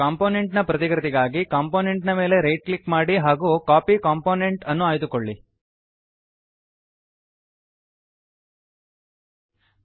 component ನ ಪ್ರತಿಕೃತಿಗಾಗಿ component ನ ಮೇಲೆ ರೈಟ್ ಕ್ಲಿಕ್ ಮಾಡಿ ಹಾಗೂ ಕಾಪಿ ಕಾಂಪೋನೆಂಟ್ ಕಾಪಿ ಕಂಪೋನೆಂಟ್ ಅನ್ನು ಆಯ್ದುಕೊಳ್ಳಿ